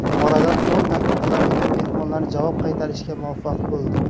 Oradan o‘n daqiqalar o‘tib mehmonlar javob qaytarishga muvaffaq bo‘ldi.